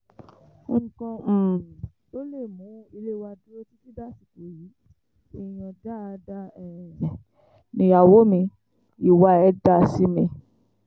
nǹkan um tó mú ilé wa dúró títí dàsìkò yìí èèyàn dáadáa um nìyàwó mi ìwà ẹ̀ dáa sí mi